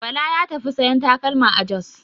Bala ya tafi sayan takalma a Jos.